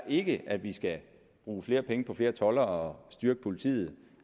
ikke at vi skal bruge flere penge på flere toldere og styrke politiet og